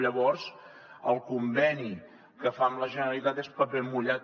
llavors el conveni que fa amb la generalitat és paper mullat